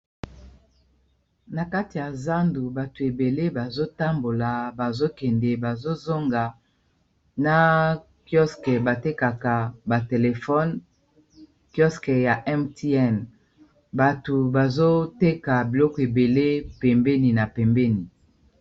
Na kati ya zandu bato ebele bazotambola bazokende bazozonga na kioske batekaka batelefone kiosker ya mtn bato bazoteka biloko ebele pembeni na pembeni